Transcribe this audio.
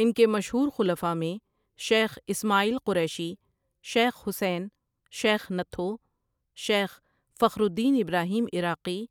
ان کے مشہور خلفاء میں شیخ اِسمٰعیل قریشی، شیخ حسین، شیخ نتھو، شیخ فخر الدین ابراہیم عراقی